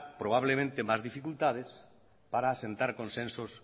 probablemente más dificultad para asentar consensos